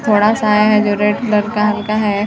थोडा सा है जो रेड कलर का हल्का है।